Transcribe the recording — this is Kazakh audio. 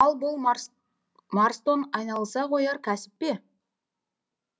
ал бұл марс марстон айналыса қояр кәсіп пе